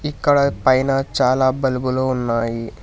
ఇక్కడ పైన చాలా బల్బులు ఉన్నాయి.